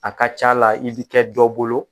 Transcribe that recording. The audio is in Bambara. A ka ca la i bi kɛ dɔ bolo